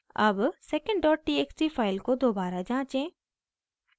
अब secondtxt file को दोबारा जाँचें